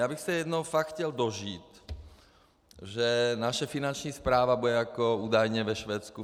Já bych se jednou fakt chtěl dožít, že naše Finanční správa bude jako údajně ve Švédsku.